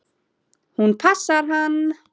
Hún passar hann!